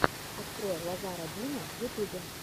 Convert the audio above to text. открой лазара бима в ютубе